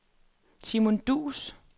Simone Duus